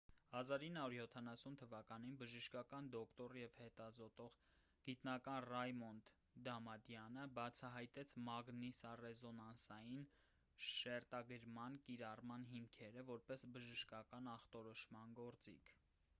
1970 թվականին բժշկական դոկտոր և հետազոտող գիտնական ռայմոնդ դամադյանը բացահայտեց մագնիսառեզոնանսային շերտագրման կիրառման հիմքերը որպես բժշկական ախտորոշման գործիք